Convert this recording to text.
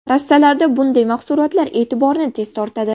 Rastalarda bunday mahsulotlar e’tiborni tez tortadi.